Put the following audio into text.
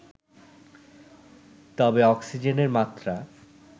তবে অক্সিজেনের মাত্রা